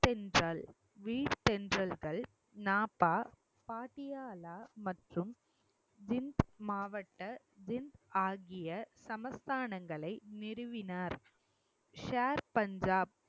நாப்பா பாட்டியாலா மற்றும் டின்ஸ் மாவட்ட டின்ஸ் ஆகிய சமஸ்தானங்களை நிறுவினார் ஷேர் பஞ்சாப்